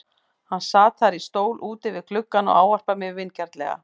Hann sat þar í stól úti við gluggann og ávarpar mig vingjarnlega.